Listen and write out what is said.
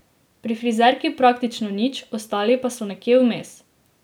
Pri frizerki praktično nič, ostali pa so nekje vmes.